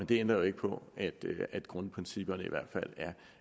det ændrer jo ikke på at grundprincipperne i hvert fald